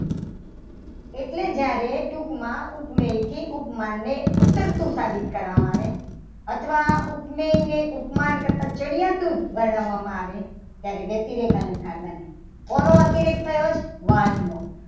એટલે જ્યારે ટૂંકમાં ઉપમેયને ઉપમાનથી ઊતરતું સાબિત કરવામાં આવે. અથવા આ ઉપમેયને ઉપમાન કરતાં ચઢિયાતું ગણવામાં આવે ત્યારે વકતી લેખ અલંકાર આવે. શેનો અતિરેક થયો વહાલનો